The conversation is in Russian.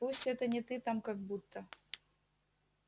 пусть это не ты там как будто